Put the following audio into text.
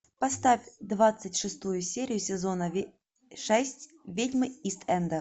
поставь двадцать шестую серию сезона шесть ведьмы ист энда